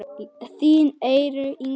Þín Eyrún Inga.